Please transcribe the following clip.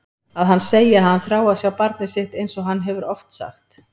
Að hann segi að hann þrái að sjá barnið sitt einsog hann hefur oft sagt.